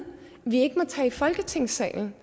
vi ikke må tage i folketingssalen